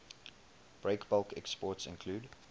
breakbulk exports include